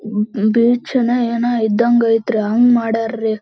table ಇದೆ ಇದನ್ನು ಎಲ್ಲಾ ಟೇಬಲ್ ಮೇಲೆ ಇಟ್ಟಿದಾರೆ ಮದ್ಯಾನದ ಕಪ್ಪು ಬಣ್ಣದ--